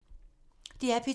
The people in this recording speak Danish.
DR P2